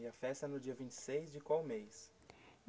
E a festa é no dia vinte e seis de qual mês?